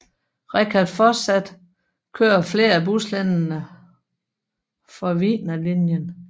Richard fortsat kører flere af buslinjerne for Wiener Linien